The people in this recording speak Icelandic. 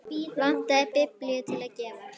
Vantaði biblíu til að gefa.